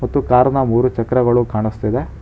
ಮತ್ತು ಕಾರ್ ನ ಮೂರು ಚಕ್ರಗಳು ಕಾಣಸ್ತಿದೆ.